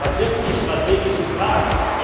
Was sind die strategischen Fragen?